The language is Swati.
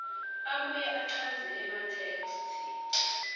abuye achaze ematheksthi